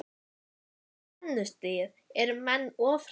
Hvað með spennustigið, eru menn of stressaðir?